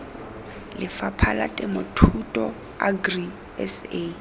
lefapha la temothuo agri sa